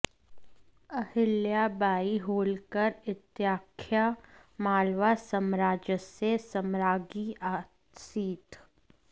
अहिल्या बाई होल्कर इत्याख्या मालवा साम्राज्यस्य साम्राज्ञी आसीत्